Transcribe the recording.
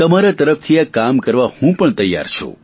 તમારા તરફથી આ કામ કરવા હું પણ તૈયાર છું